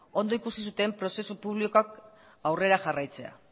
ondo ikusi zuten prozesu publikoak aurrera jarraitzea